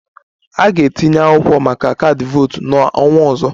M ga-etinye akwụkwọ maka kaadị votu n'ọnwa ọzọ